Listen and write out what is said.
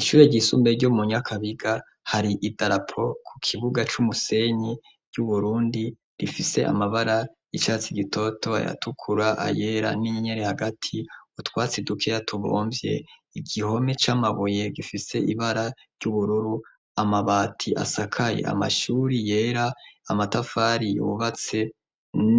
Ishure ry'isumbe ryo mu Nyakabiga, hari idarapo ku kibuga c'umusenyi y'Uburundi, rifise amabara y'icatsi gitoto, ayatukura, ayera n'inyenyeri hagati, utwatsi dukeya tubomvye, igihome c'amabuye gifise ibara ry'ubururu, amabati asakaye amashuri yera, amatafari yubatse